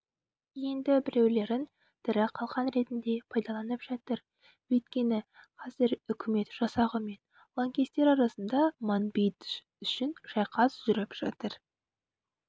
енді біреулерін тірі қалқан ретінде пайдаланып жатыр өйткені қазір үкімет жасағы мен лаңкестер арасында манбидж үшін шайқас жүріп жатыр